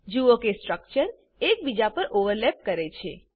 જુઓ કે સ્ટ્રક્ચર એક બીજા પર ઓવરલેપ કરે છે